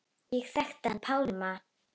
Ég þekkti hann Pálma.